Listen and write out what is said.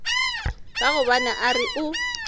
ka gobane a re o